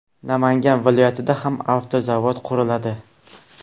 Namangan viloyatida ham avtozavod quriladi.